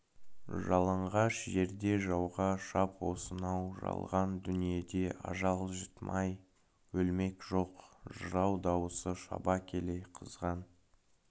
жалаңғаш жерде жауға шап осынау жалған дүниеде ажал житмай өлмек жоқ жырау даусы шаба келе қызған